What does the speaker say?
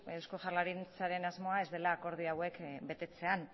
eusko jaurlaritzaren asmoa ez dela akordio hauek betetzean